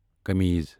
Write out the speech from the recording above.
کَمیز